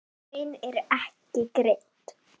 Laun eru ekki greidd.